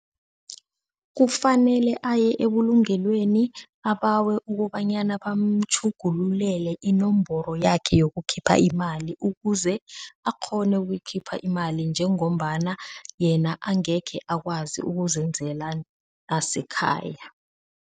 Kufanele aye ebulungelweni abawe ukobanyana bamatjhugululele inomboro yakhe yokukhipha imali ukuze akghone ukuyikhipha imali njengombana yena angekhe akwazi ukuzenzela asekhaya.